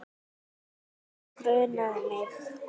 Það grunaði mig.